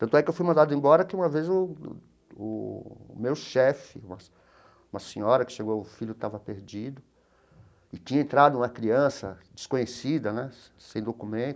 Tanto é que eu fui mandado embora que uma vez o o meu chefe, uma uma senhora que chegou, o filho estava perdido, e tinha entrado uma criança desconhecida né, sem documento,